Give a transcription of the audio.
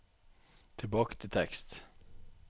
tilbake til tekst